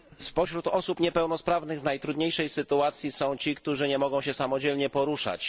Spośród osób niepełnosprawnych w najtrudniejszej sytuacji są ci, którzy nie mogą się samodzielnie poruszać.